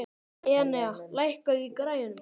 Enea, lækkaðu í græjunum.